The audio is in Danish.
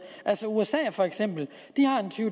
for eksempel har usa